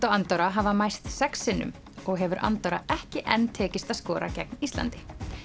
og Andorra hafa mæst sex sinnum og hefur Andorra ekki enn tekist að skora gegn Íslandi